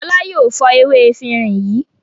Fọlá yóò fọ ewé efirin yìí.